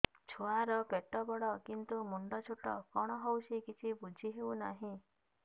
ଛୁଆର ପେଟବଡ଼ କିନ୍ତୁ ମୁଣ୍ଡ ଛୋଟ କଣ ହଉଚି କିଛି ଵୁଝିହୋଉନି